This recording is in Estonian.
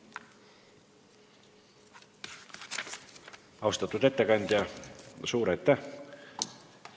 Austatud ettekandja, suur aitäh!